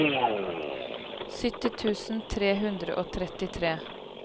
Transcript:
sytti tusen tre hundre og trettitre